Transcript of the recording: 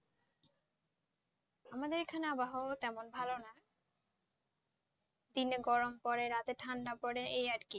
আমাদের এখানে আবহাওয়া কেমন ভালো না দিনে গরম পরে রাতে ঠান্ডা পরে এই আর কি